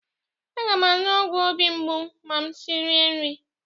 Aga m aṅụ ọgwụ obi mgbu ma m risie nri.